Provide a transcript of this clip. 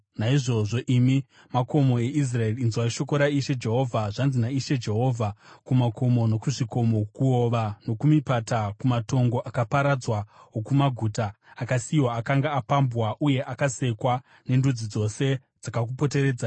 naizvozvo, imi makomo eIsraeri, inzwai shoko raIshe Jehovha: Zvanzi naIshe Jehovha kumakomo nokuzvikomo, kuhova nokumipata, kumatongo akaparadzwa okumaguta akasiyiwa akanga apambwa uye akasekwa nendudzi dzose dzakakupoteredzai,